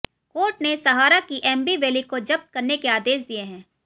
court ने सहारा की Aamby Valley को जब्त करने के आदेश दिए हैं